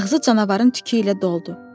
Ağzı canavarın tükü ilə doldu.